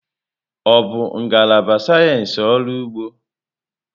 Ọ bụ ngalaba sayensị ọrụ ugbo?